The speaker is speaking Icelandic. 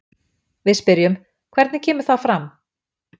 Við spyrjum, hvernig kemur það fram?